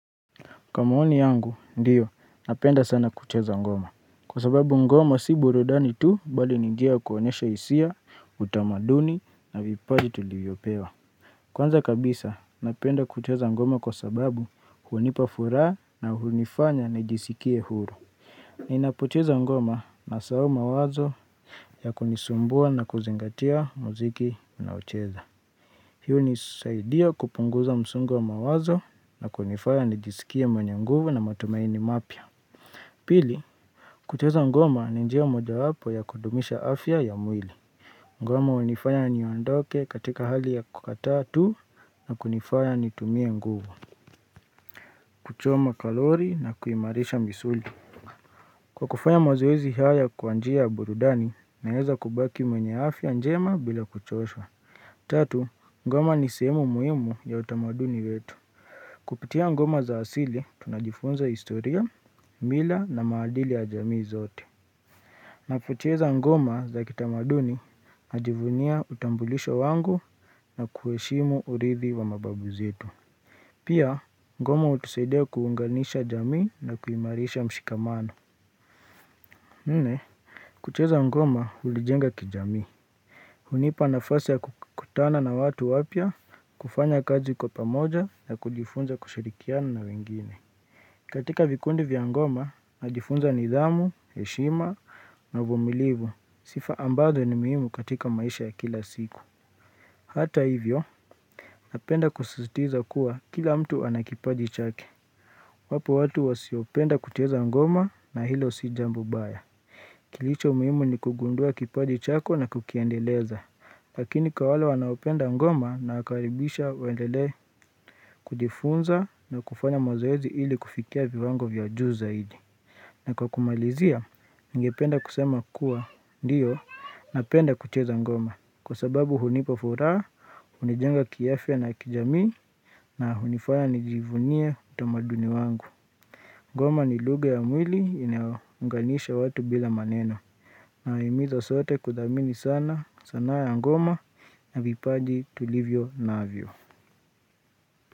Kwa maoni yangu, ndiyo, napenda sana kucheza ngoma. Kwa sababu ngoma si burudani tu, bali ni njia kuonyesha isia, utamaduni, na vipaji tulivyopewa. Kwanza kabisa, napenda kucheza ngoma kwa sababu hunipa furaha na hunifanya nijisikie huru. Ninapocheza ngoma nasahau mawazo ya kunisumbua na kuzingatia mziki ninaocheza. Hii unisaidio kupunguza msungo wa mawazo na kunifaya nijisikie mwenye nguvu na matumaini mapya. Pili, kutengeneza ngoma ni njia mojayapo ya kudumisha afya ya mwili. Ngoma unifaya niondoke katika hali ya kukataa tu na kunifaya nitumie nguvu. Kuchoma kalori na kuimarisha misuli. Kwa kufanya mazoezi haya kwa njia ya burudani naeza kubaki mwenye afya njema bila kuchoshwa. Tatu, ngoma ni sehemu muhimu ya utamaduni wetu Kupitia ngoma za asili, tunajifunza historia, mila na maadili ya jamii zote Napocheza ngoma za kitamaduni, najivunia utambulisho wangu na kueshimu urithi wa mababu zetu Pia, ngoma utusaidia kuunganisha jamii na kuimarisha mshikamano nne kucheza ngoma unijenga kijamii hunipa nafasi ya kukutana na watu wapya kufanya kazi kwa pamoja na kujifunza kushirikiana na wengine katika vikundi vya ngoma, najifunza nidhamu, heshima na uvumilivu Sifa ambazo ni muhimu katika maisha ya kila siku Hata hivyo, napenda kusisitiza kuwa kila mtu ana kipaji chake Wapo watu wasiopenda kucheza ngoma na hilo si jambo baya Kilicho muhimu ni kugundua kipaji chako na kukiendeleza Lakini kwa wale wanaopenda ngoma nawakaribisha waendelee kujifunza na kufanya mazoezi ili kufikia viwango vya juu zaidi. Na kwa kumalizia, ningependa kusema kuwa ndiyo napenda kucheza ngoma. Kwa sababu hunipa furaha, unijenga kiafya na kijamii na hunifanya nijivunie utamaduni wangu. Ngoma ni lugha ya mwili inayounganisha watu bila maneno. Naahimizo sote kudamini sana sana ya ngoma na vipaji tulivyonavyo.